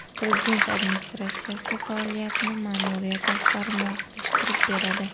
Prezident administratsiyasi faoliyatini ma’muriyat rahbari muvofiqlashtirib boradi.